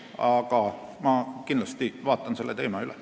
Aga ma kindlasti vaatan selle teema üle.